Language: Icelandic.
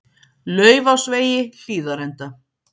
Laufásvegi Hlíðarenda